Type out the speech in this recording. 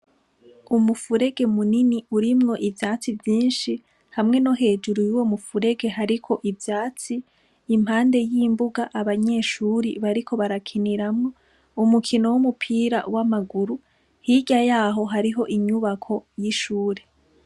Umufurege munini urimwo ivyatsi vyinshi hamwe no hejuru yuwo mufurege hariko ivyatsi, impande y’imbuga abanyeshure bariko barakiniramwo umukino w’umupira w’amaguru, hirya yaho hariho inyubako y’ishure.